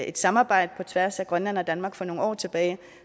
et samarbejde på tværs af grønland og danmark for nogle år tilbage